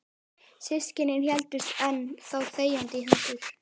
Systkinin héldust enn þá þegjandi í hendur.